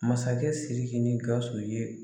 Masakɛ SIRIKI ni GAWUSU ye.